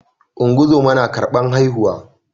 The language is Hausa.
ungozoma na karban haihuwa